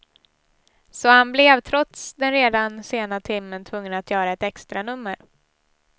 Så han blev, trots den redan sena timmen, tvungen att göra ett extranummer.